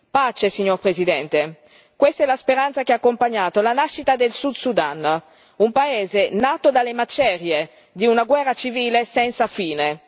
Pace, signor Presidente questa è la speranza che ha accompagnato la nascita del Sud Sudan, un paese nato dalle macerie di una guerra civile senza fine.